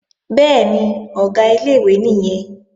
Bẹ́ẹ̀ni, Ọ̀gá ilé-ìwé nìyẹn